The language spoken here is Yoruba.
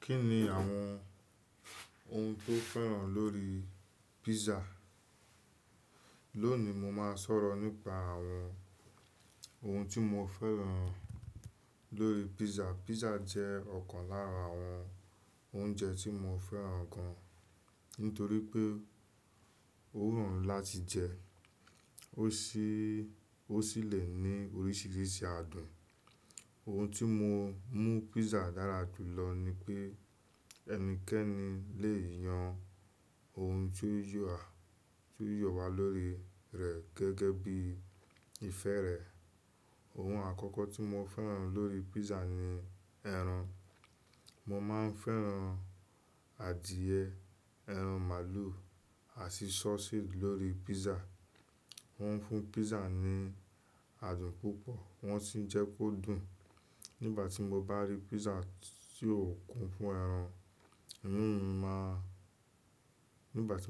Kí ni àwọn ohun tó fẹ́ràn lórí pizza? Lónìí, mo máa sọ̀rọ̀ nípa àwọn ohun tí mo fẹ́ràn lórí pizza. Pizza jẹ́ ọ̀kan lára àwọn oúnjẹ tí mo fẹ́ràn gan, nítorí pé ó rọrùn láti jẹ, ó sì le ní oríṣìíríṣìí àádùn. Ohun tí mo mú pizza dára jùlọ ni pé ẹnikẹ́ni lè yan ohun tó yọ wá lórí rẹ̀ gẹ́gẹ́ bí i ìfẹ́ rẹ̀. Ohun àkọ́kọ́ tí mo fẹ́ràn lórí pizza ni ẹran. Mo máa ń fẹ́ràn adìẹ, ẹran màlúù àti sausage lórí pizza. Wọ́n ń fún pizza ní àádùn púpọ̀, wọ́n sì ń jẹ́ kó dùn. Nígbà tí mo bá rí pizza, tí ó kún fún ẹran, inú mi maa n dùn nítòrí